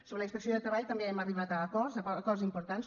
sobre la inspecció de treball també hem arribat a acords acords importants